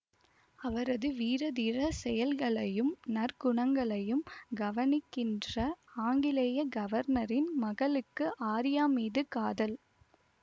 அவரது வீரதீர செயல்களையும் நற்குணங்களையும் கவனிக்கின்ற ஆங்கிலேய கவர்னரின் மகளுக்கு ஆர்யா மீது காதல்